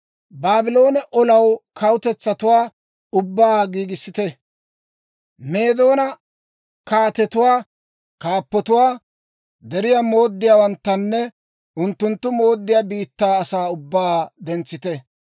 Baabloone olanaw kawutetsatuwaa ubbaa giigissite; Meedoona kaatetuwaa, unttunttu kaappotuwaa, deriyaa mooddiyaawanttanne unttunttu mooddiyaa biittaa asaa ubbaa dentsite.